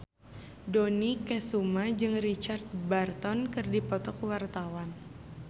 Dony Kesuma jeung Richard Burton keur dipoto ku wartawan